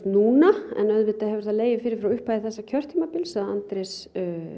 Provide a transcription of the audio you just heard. núna en auðvitað hefur það legið fyrir frá upphafi þessa kjörtímabils að Andrés